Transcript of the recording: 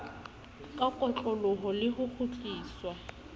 ka kotloloho le ho kgutliswa